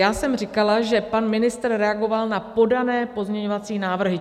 Já jsem říkala, že pan ministr reagoval na podané pozměňovací návrhy.